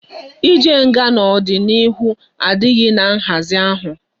I jee nga na odi na ihu adighi na nhazi ahu